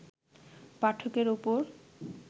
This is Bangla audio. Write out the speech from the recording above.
পাঠকের ওপর